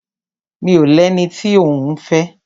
Mi ò lẹni tí òún fẹ́.